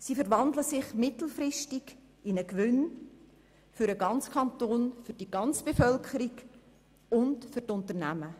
Sie verwandeln sich mittelfristig in einen Gewinn für den ganzen Kanton, für die ganze Bevölkerung und für die Unternehmen.